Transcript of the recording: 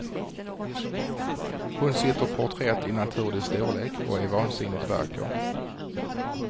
Hon sitter porträtt i naturlig storlek och är vansinnigt vacker.